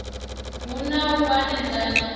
hu na u hanedzana hunzhi